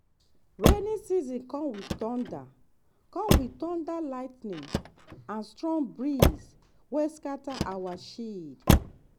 rainy season come with thunder come with thunder lightning and strong breeze wey scatter our shed.